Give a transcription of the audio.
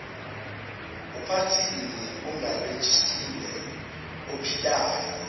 uphathini ongarejistiwe ophilayo